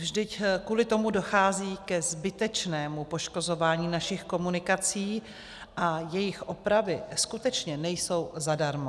Vždyť kvůli tomu dochází ke zbytečnému poškozování našich komunikací a jejich opravy skutečně nejsou zadarmo.